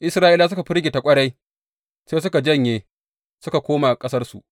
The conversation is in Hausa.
Isra’ilawa suka firgita ƙwarai; sai suka janye suka koma ƙasarsu.